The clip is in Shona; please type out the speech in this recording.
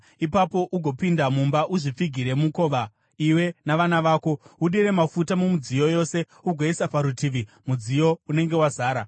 Ipapo ugopinda mumba uzvipfigire mukova iwe navana vako. Udire mafuta mumidziyo yose, ugoisa parutivi mudziyo unenge wazara.”